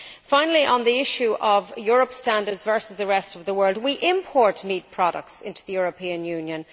Finally, on the issue of Europe's standards versus the rest of the world, we import meat products into the European Union.